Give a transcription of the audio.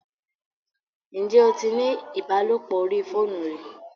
Ǹjẹ́ o tí ní ìbálòpọ̀ orí fóònù rí?